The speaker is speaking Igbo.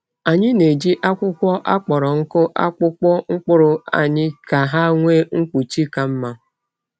Anyị na-eji akwụkwọ akpọrọ nkụ akpụkpọ mkpụrụ anyị ka ha nwee mkpuchi ka mma.